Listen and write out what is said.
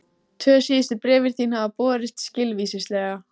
Tvö síðustu bréfin þín hafa borist skilvíslega.